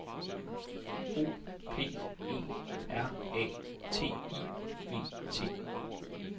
O P E R A T I V T